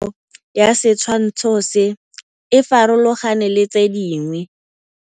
Popêgo ya setshwantshô se, e farologane le tse dingwe.